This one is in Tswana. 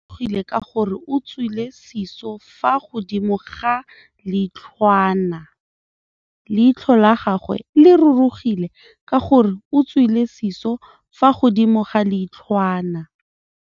Leitlhô la gagwe le rurugile ka gore o tswile sisô fa godimo ga leitlhwana.